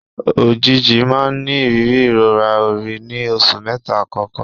Òjìji máa ń ní ìrírí ìrora orí ní oṣù mẹ́ta àkọ́kọ́.